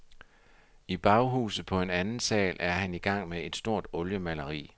I baghuset på anden sal er han i gang med et stort oliemaleri.